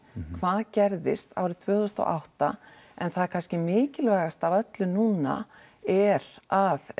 hvað gerðist árið tvö þúsund og átta en það er kannski mikilvægast af öllu núna er að